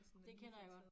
Det kender jeg godt